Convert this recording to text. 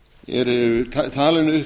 eru talin upp